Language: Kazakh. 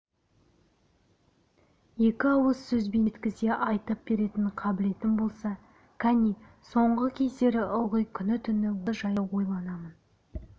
екі ауыз сөзбен жеткізе айтып беретін қабілетім болса кәне соңғы кездері ылғи күні-түні осы жайды ойланамын